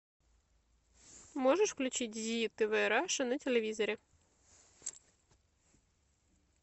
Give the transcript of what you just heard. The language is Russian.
можешь включить зи тв раша на телевизоре